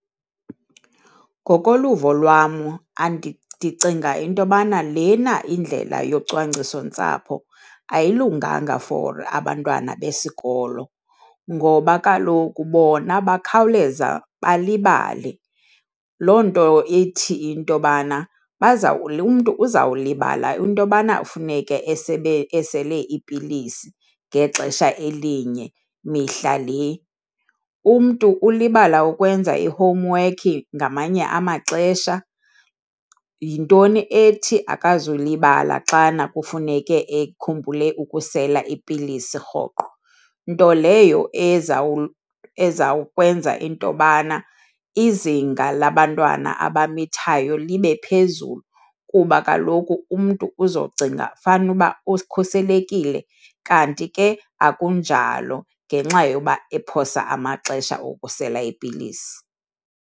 Ngokoluvo lwam ndicinga into yobana lena indlela yocwangciso-ntsapho ayilunganga for abantwana besikolo ngoba kaloku bona bakhawuleza balibale. Loo nto ithi into yobana umntu uzawulibala into yobana funeke esele ipilisi ngexesha elinye mihla le. Umntu ulibala ukwenza ihomwekhi ngamanye amaxesha, yintoni ethi akazukulibala xana kufuneke ekhumbule ukusela ipilisi rhoqo? Nto leyo ezawukwenza intobana izinga labantwana abamithayo libe phezulu kuba kaloku umntu uzocinga fanuba ukhuselekile kanti ke akunjalo ngenxa yokuba ephosa amaxesha okusela ipilisi.